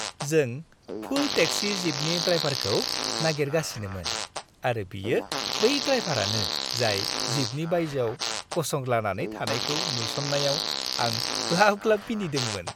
जों full taxi जीपनि ड्राइभारखौ नागिरगासिनोमोन आरो बियो बै ड्राइभारानो जाय जीपनि बायजोआव गसंद्लानानै थानायखौ नुसन्नायाव आं ग्लाब-ग्लाब मिनिदोंमोन।